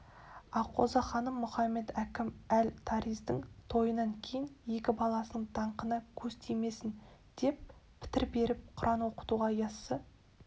аққозы ханым мұхамед-әкім эль таразидың тойынан кейін екі баласының даңқына көз тимесін деп пітір беріп құран оқытуға яссы